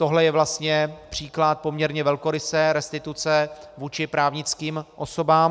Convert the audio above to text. Tohle je vlastně příklad poměrně velkorysé restituce vůči právnickým osobám.